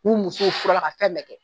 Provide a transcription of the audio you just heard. K'u musow fur'a la ka fɛn bɛɛ kɛ